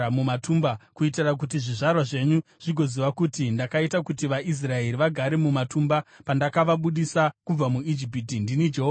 kuitira kuti zvizvarwa zvenyu zvigoziva kuti ndakaita kuti vaIsraeri vagare mumatumba pandakavabudisa kubva muIjipiti. Ndini Jehovha Mwari wenyu.’ ”